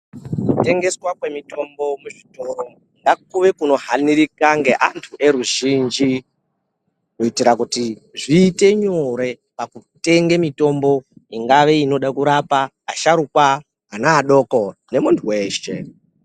Kutengeswa kwemitombo muzvitoro ngakuve kunohanirika ngeantu eruzhinji. Kuitira kuti zviite nyore pakutenge mitombo ingave inode kurapa asharuka, ana adoko nemuntu veshe.